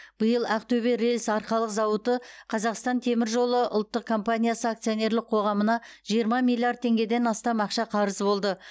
биыл ақтөбе рельс арқалық зауыты қазақстан темір жолы ұлттық компаниясы акционерлік қоғамына жиырма миллиард теңгеден астам ақша қарыз болды